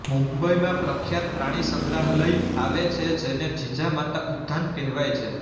મુંબઈમાં પ્રખ્યાત પ્રાણી સંગ્રહાલય આવે છે જેને જીજામાતા ઉધાન કહેવાય છે